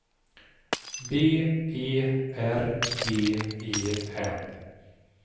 B E R G E N